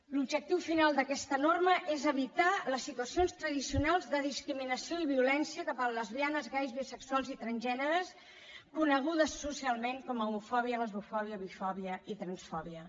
l’objectiu final d’aquesta norma és evitar les situacions tradicionals de discriminació i violència cap a lesbianes gais bisexuals i transgèneres conegudes socialment com homofòbia lesbofòbia bifòbia i transfòbia